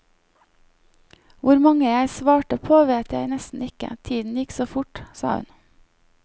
Hvor mange jeg svarte på vet jeg nesten ikke, tiden gikk så fort, sa hun.